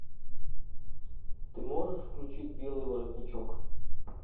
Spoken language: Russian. ты можешь включить белый воротничок